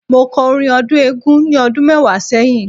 Mo kọ́ orin ọdún Eégún ni ọdún mẹ́wàá sẹ́yìn.